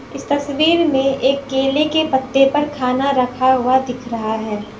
इस तस्वीर में एक केले के पत्ते पर खाना रखा हुआ दिख रहा है।